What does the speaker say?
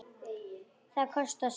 Það kostar sitt.